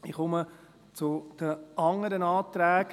Ich komme zu den anderen Anträgen.